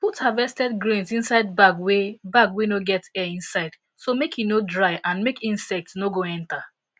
put harvested grains inside bag wey bag wey no get air inside so make e no dry and make insects no go enter